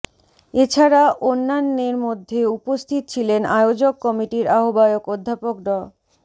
এছাড়া অন্যান্যের মধ্যে উপস্থিত ছিলেন আয়োজক কমিটির আহ্বায়ক অধ্যাপক ড